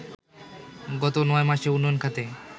গত ৯ মাসে উন্নয়ন খাতে